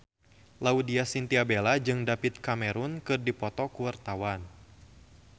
Laudya Chintya Bella jeung David Cameron keur dipoto ku wartawan